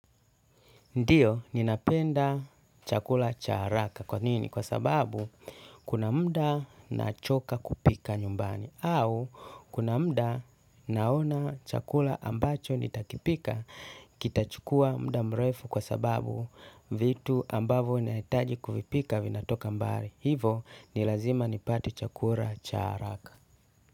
Ndiio, ninapenda chakula cha haraka. Kwa nini? Kwa sababu, kuna mda nachoka kupika nyumbani. Au, kuna mda naona chakula ambacho nitakipika, kitachukua mda mrefu kwa sababu vitu ambavo naitaji kuvipika vinatoka mbali. Hivo, nilazima nipate chakula cha haraka.